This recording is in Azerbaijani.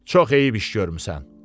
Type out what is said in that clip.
Çox eyib iş görmüsən.